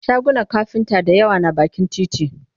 shagunan kafinta da yawa na bakin titi